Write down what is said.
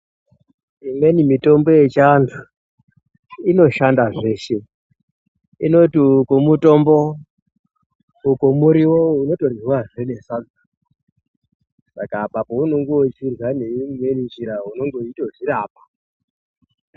Imweni mitombo yechi antu ino shanda zveshe inoti uku mutombo uku muriwo unoto ryiwa zvee ne sadza saka apa pa unenge uchirya ne imweni njira unenge uchito zvirapa.